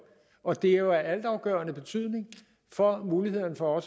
og det er jo af altafgørende betydning for muligheden for